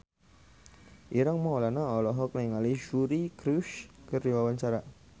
Ireng Maulana olohok ningali Suri Cruise keur diwawancara